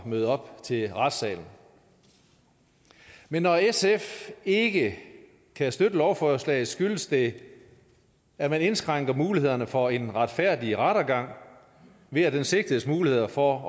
møde op til retssagen men når sf ikke kan støtte lovforslaget skyldes det at man indskrænker mulighederne for en retfærdig rettergang ved at den sigtedes muligheder for